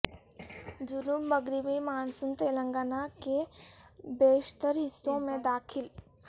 جنوب مغربی مانسون تلنگانہ کے بیشتر حصوں میں داخل